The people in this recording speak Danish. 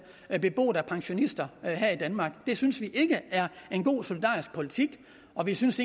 beboet af pensionister her i danmark det synes vi ikke er en god solidarisk politik og vi synes